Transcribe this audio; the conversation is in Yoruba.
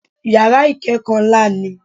Yàrá ìkẹ́kọ̀ọ́ ńlá ni i